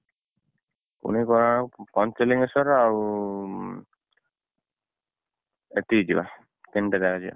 ପୁରୀ, କୋଣାର୍କ, ପଞ୍ଚଲିଙ୍ଗେଶ୍ୱର, ଆଉ ସେତିକି ଯିବା ତିନିଟା ଜାଗା ଯିବା।